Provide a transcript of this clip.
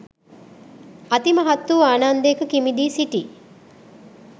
අති මහත් වූ ආනන්දයක කිමිදී සිටි